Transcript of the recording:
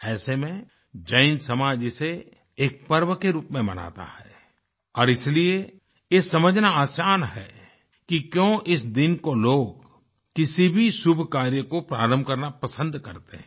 ऐसे में जैन समाज इसे एक पर्व के रूप में मनाता है और इसलिए यह समझना आसान है कि क्यों इस दिन को लोग किसी भी शुभ कार्य को प्रारंभ करना पसन्द करते हैं